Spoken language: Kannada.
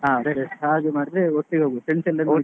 ಹ ಸರಿ ಹಾಗೆ ಮಾಡಿದ್ರೆ ಒಟ್ಟಿಗೆ ಹೋಗ್ವ friends ಎಲ್ರಿಗೆ ಹೇಳಿ.